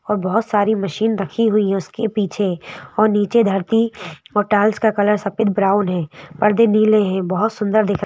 और बहुत सारी मशीन रखी हुई है उसके पीछे और नीचे धरती और टाइल्स का कलर सफेद ब्राउन है पर्दे नीले हैं बहुत सुंदर दिखते।